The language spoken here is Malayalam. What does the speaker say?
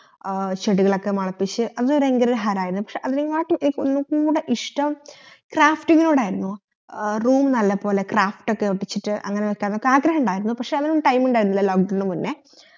ആ ചെടികളൊക്കെ മുളപ്പിച്ചു അത് ബഹങ്കാര ഹരയിരുന്നു പക്ഷെ അതിനങ്കാട്ടി ഒന്ന്കൂടെ ഇഷ്ട്ടം crafting ഇനോടായിരുന്നു ആ room നല്ലപോലെ craft ഒക്കെ ഒട്ടിച്ചിട്ട് അങ്ങനെതെന്നെ ആഗ്രഹിണ്ടായിരുന്നു പക്ഷെ അതിനൊന്നും time ഇണ്ടായിരുന്നില്ല lock down ന് മുന്നേ